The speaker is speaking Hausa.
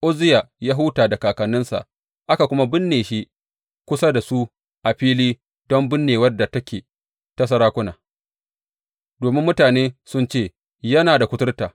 Uzziya ya huta da kakanninsa aka kuma binne shi kusa da su a fili don binnewar da take ta sarakuna, domin mutane sun ce, Yana da kuturta.